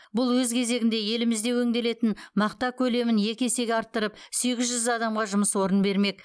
бұл өз кезегінде елімізде өңделетін мақта көлемін екі есеге арттырып сегіз жүз адамға жұмыс орнын бермек